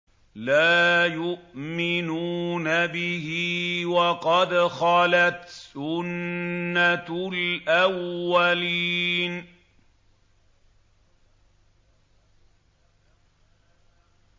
لَا يُؤْمِنُونَ بِهِ ۖ وَقَدْ خَلَتْ سُنَّةُ الْأَوَّلِينَ